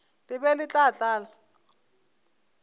le be le tla tlala